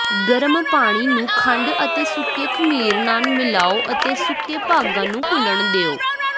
ਗਰਮ ਪਾਣੀ ਨੂੰ ਖੰਡ ਅਤੇ ਸੁੱਕੇ ਖਮੀਰ ਨਾਲ ਮਿਲਾਓ ਅਤੇ ਸੁੱਕੇ ਭਾਗਾਂ ਨੂੰ ਘੁਲਣ ਦਿਓ